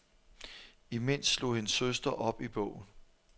Imens slog hendes søster op i bogen.